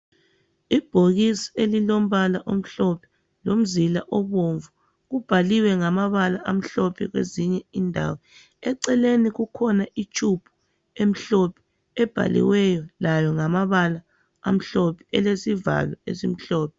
Ibhokisi elilombala omhlophe lomzila obomvu, kubhaliwe ngamabala amhlophe kwezinye indawo, eceleni kukhona itshubhu emhlophe ebhaliweyo layo ngamabala amhlophe elesivalo esimhlophe.